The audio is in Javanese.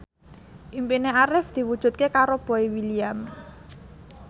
impine Arif diwujudke karo Boy William